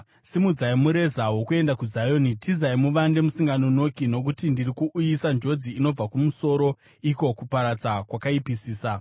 Simudzai mureza wokuenda kuZioni! Tizai muvande musinganonoki! Nokuti ndiri kuuyisa njodzi inobva kumusoro, iko kuparadza kwakaipisisa.”